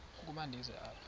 ukuba ndize apha